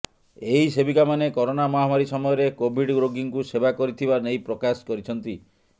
ଏହି ସେବିକା ମାନେ କରୋନା ମହାମାରୀ ସମୟରେ କୋଭିଡ଼ ରୋଗୀଙ୍କୁ ସେବା କରିଥିବା ନେଇ ପ୍ରକାଶ କରିଛନ୍ତି